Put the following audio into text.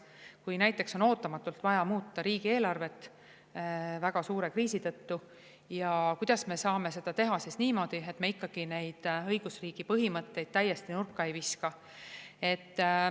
Kui näiteks on ootamatult vaja muuta riigieelarvet väga suure kriisi tõttu, siis kuidas me saame seda teha niimoodi, et me ikkagi õigusriigi põhimõtteid täiesti nurka ei viska.